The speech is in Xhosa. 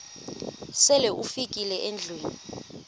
sele ufikile endlwini